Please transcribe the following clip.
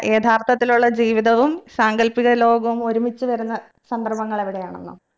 യഥാർത്ഥത്തിലുള്ള ജീവിതവും സാങ്കൽപ്പിക ലോകവും ഒരുമിച്ച് വരുന്ന സന്ദർഭങ്ങളെവിടെയാണെന്നോ